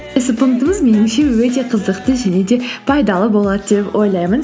меніңше өте қызықты және де пайдалы болады деп ойлаймын